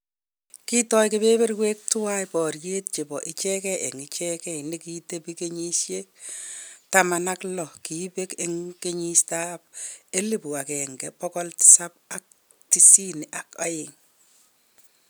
Kotai keberberwek tuwai boriet chebo ichegei eng ichegei ne ki tebi kenyisyek taman ak lo kibeek eng kenyit ab elibu agenge bogol tisap ak tisini ak aeng